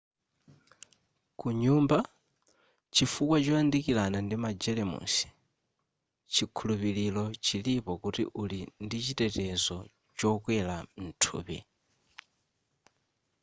kunyumba chifukwa choyandikirana ndi magelemusi chikhulupiro chilipo kuti uli ndichitetezo chokwera mthupi